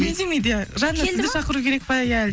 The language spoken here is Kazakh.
үндемейді иә жанына сізді шақыру керек па иә